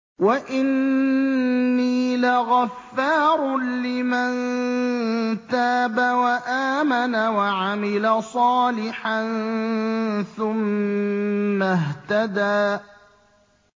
وَإِنِّي لَغَفَّارٌ لِّمَن تَابَ وَآمَنَ وَعَمِلَ صَالِحًا ثُمَّ اهْتَدَىٰ